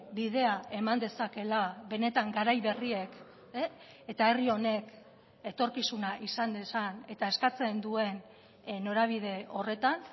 bidea eman dezakeela benetan garai berriek eta herri honek etorkizuna izan dezan eta eskatzen duen norabide horretan